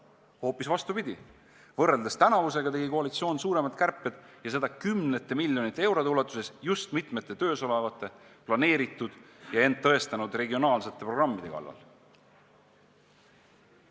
Hoopis vastupidi, võrreldes tänavusega tegi koalitsioon suuremaid kärpeid ja seda kümnete miljonite eurode ulatuses just mitme töös oleva, planeeritud ja end tõestanud regionaalse programmi kallal.